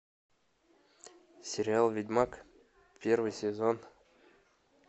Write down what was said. сериал ведьмак первый сезон